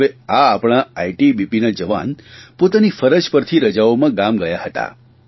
હવે આ આપણા આઇટીબીપીના જવાન પોતાની ફરજ પરથી રજાઓમાં ગામ ગયા હતા